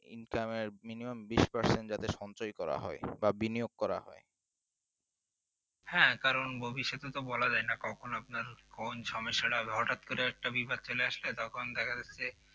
ইনকামের minimum বিশ percent যাতে সঞ্জয় করা হয় বা বিনিয়োগ করা হয়